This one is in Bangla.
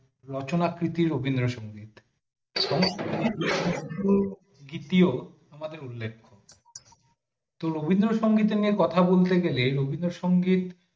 রচনা প্রীতি রবীন্দ্র সংগীত দ্বিতীয় আমাদের উল্লেখ্য রবীন্দ্রনাথ সম্পর্কে কথা বলতে গেলে রবীন্দ্র সংগীত